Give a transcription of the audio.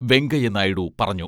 വെങ്കയ്യ നായിഡു പറഞ്ഞു.